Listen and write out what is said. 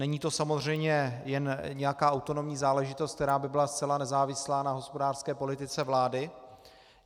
Není to samozřejmě jen nějaká autonomní záležitost, která by byla zcela nezávislá na hospodářské politice vlády.